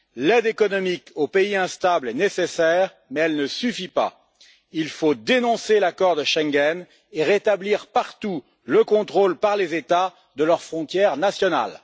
L'aide économique aux pays instables est nécessaire mais elle ne suffit pas. Il faut dénoncer l'accord de Schengen et rétablir partout le contrôle par les États de leurs frontières nationales.